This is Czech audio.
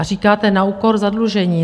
A říkáte na úkor zadlužení.